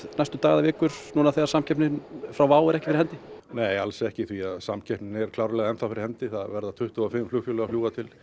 næstu daga eða vikur núna þegar samkeppni frá WOW er ekki fyrir hendi nei alls ekki því samkeppnin er klárlega enn þá fyrir hendi það verða tuttugu og fimm flugfélög að fljúga til